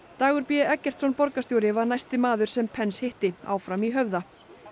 Dagur b Eggertsson borgarstjóri var næsti maður sem Pence hitti áfram í Höfða